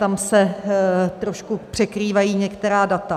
Tam se trošku překrývají některá data.